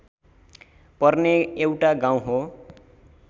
पर्ने एउटा गाउँ हो